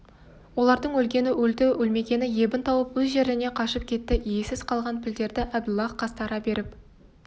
олардың өлгені өлді өлмегені ебін тауып өз жеріне қашып кетті иесіз қалған пілдерді әбділлах қастары беріп